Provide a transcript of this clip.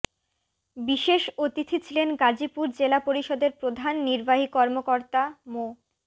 বিশেষ অতিথি ছিলেন গাজীপুর জেলা পরিষদের প্রধান নির্বাহী কর্মকর্তা মো